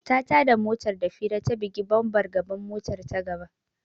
Ta tada motar da fira ta bugi bambar gaban motar ta gaba.